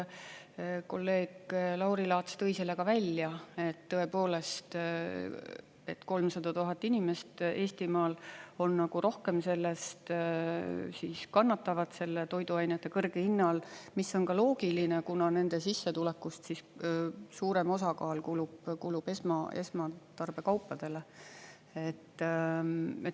Kolleeg Lauri Laats tõi selle ka välja, et tõepoolest 300 000 inimest Eestimaal rohkem kannatavad selle toiduainete kõrge hinna all, mis on ka loogiline, kuna nende sissetulekust suurem osakaal kulub esmatarbekaupadele.